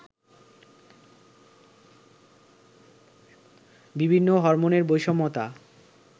বিভিন্ন হরমোনের বৈষম্যতা